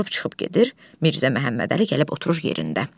Durub çıxıb gedir, Mirzə Məmmədəli gəlib oturur yerində.